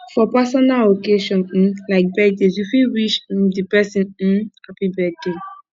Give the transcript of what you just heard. for personal occassion um like birthday you fit wish um di person um happy birthday